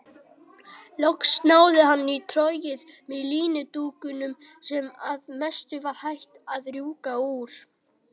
Loks náði hann í trogið með líndúkunum sem að mestu var hætt að rjúka úr.